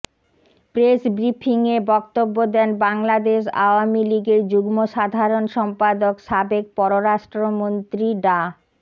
press ব্রিফিংয়ে বক্তব্য দেন বাংলাদেশ আওয়ামী লীগের যুগ্ম সাধারণ সম্পাদক সাবেক পররাষ্ট্রমন্ত্রী ডা